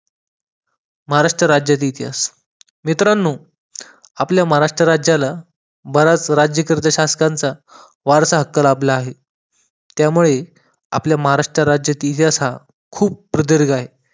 महाराष्ट राज्याचा इतिहास. मित्रांनो आपल्या महाराष्ट्र राज्याला बऱ्याच राज्यकर्ते शासकांचा वारसा हक्क लाभला आहे. त्यामुळे आपल्या महाराष्ट्र राज्याचा इतिहास हा खूप प्रदीर्घ आहे.